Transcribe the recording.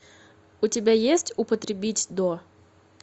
у тебя есть употребить до